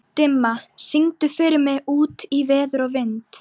Dimma, syngdu fyrir mig „Út í veður og vind“.